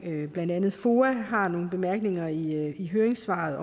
blandt andet foa har nogle bemærkninger i høringssvarene